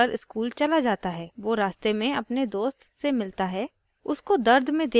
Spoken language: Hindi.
ramu को अभी भी दर्द है फिर भी वह bag उठाकर स्कूल चला जाता है